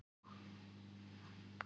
Eva: Og hvernig ætla menn að gera það?